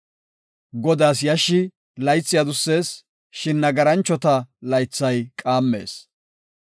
Godaas yashshi laythi adussees; shin nagaranchota laythay qaammees.